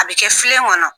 A bɛ kɛ filen kɔnɔ